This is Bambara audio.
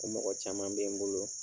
Ko mɔgɔ caman be n bolo